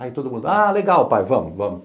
Aí todo mundo, ah, legal pai, vamos.